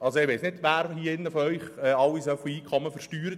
Ich weiss nicht, wer von Ihnen allen so viel Einkommen versteuert.